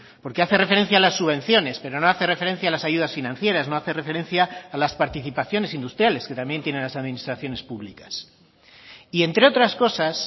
porque hace referencia a las subvenciones pero no hace referencia a las ayudas financieras no hace referencia a las participaciones industriales que también tienen las administraciones públicas y entre otras cosas